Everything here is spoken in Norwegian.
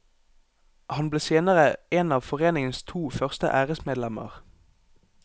Han ble senere en av foreningens to første æresmedlemmer.